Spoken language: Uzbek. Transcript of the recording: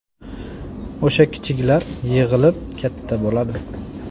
O‘sha kichiklar yig‘ilib katta bo‘ladi.